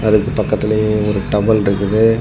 அதுக்கு பக்கத்துலயே ஒரு டவல் ருக்குது.